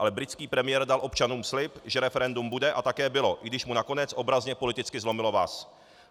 Ale britský premiér dal občanům slib, že referendum bude, a také bylo, i když mu nakonec obrazně politicky zlomilo vaz.